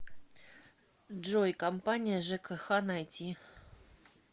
джой компания жкх найти